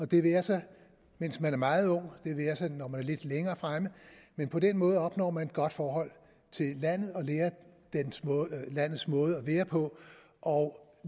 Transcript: det være sig mens man er meget ung det være sig når man er lidt længere fremme men på den måde opnår man et godt forhold til landet og lærer landets måde at være på og